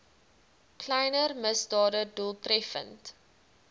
kleiner misdade doeltreffend